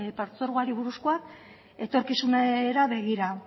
partzuergoari buruzkoa etorkizunera begira